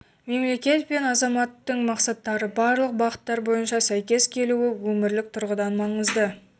мемлекет пен азаматтың мақсаттары барлық бағыттар бойынша сәйкес келуі өмірлік тұрғыдан маңызды